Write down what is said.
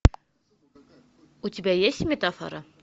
у тебя есть метафора